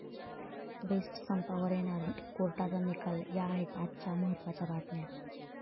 best संपावर येणार कोर्टाचा निकाल, या आहेत आजच्या महत्त्वाच्या बतम्या